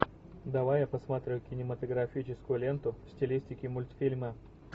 давай я посмотрю кинематографическую ленту в стилистике мультфильма